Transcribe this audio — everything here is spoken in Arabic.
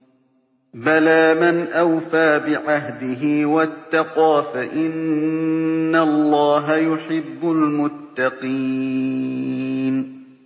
بَلَىٰ مَنْ أَوْفَىٰ بِعَهْدِهِ وَاتَّقَىٰ فَإِنَّ اللَّهَ يُحِبُّ الْمُتَّقِينَ